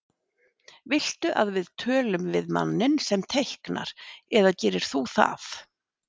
Viltu að við tölum við manninn sem teiknar eða gerir þú það?